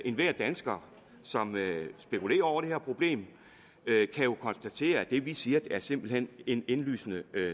enhver dansker som spekulerer over det her problem kan jo konstatere at det vi siger simpelt hen er en indlysende